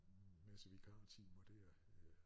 Masse vikartimer dér